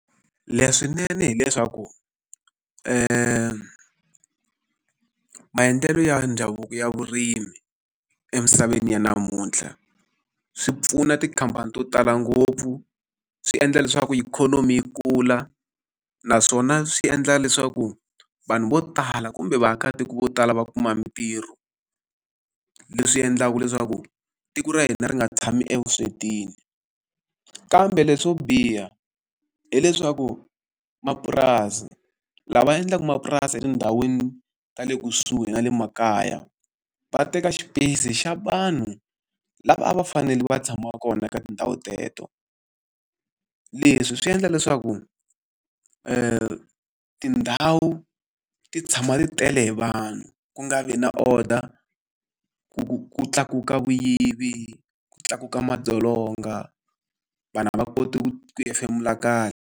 leswinene hileswaku maendlelo ya ndhavuko ya vurimi emisaveni ya namuntlha, swi pfuna tikhamphani to tala ngopfu, swi endla leswaku ikhonomi yi kula, naswona swi endla leswaku vanhu vo tala kumbe vaakatiko vo tala va kuma mitirho. Leswi endlaku leswaku tiko ra hina ri nga tshami evuswetini. Kambe leswo biha hileswaku mapurasi, lava endlaka mapurasi etindhawini ta le kusuhi na le makaya, va teka xipeyisi xa vanhu lava a va fanele va tshamaka kona eka tindhawu teto. Leswi swi endla leswaku tindhawu ti tshama ti tele hi vanhu, ku nga vi na order ku ku ku tlakuka vuyivi, ku tlakuka madzolonga, vanhu a va koti ku hefemula kahle.